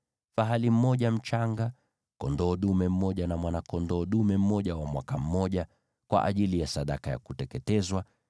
fahali mmoja mchanga, kondoo dume mmoja na mwana-kondoo dume mmoja wa mwaka mmoja, kwa ajili ya sadaka ya kuteketezwa;